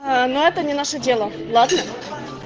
аа но это не наше дело ладно